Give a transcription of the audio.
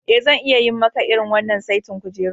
Eh, zan iya yi maka irin wannan saitin kujerun.